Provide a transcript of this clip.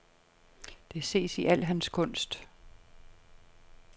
Det ses i al hans kunst.